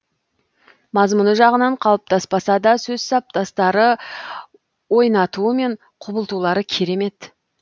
мазмұны жағынан қалыптаспаса да сөз саптастары ойнатуы мен құбылтулары керемет